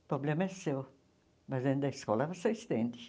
O problema é seu, mas dentro da escola você estende.